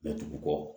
Mɛ dugu kɔ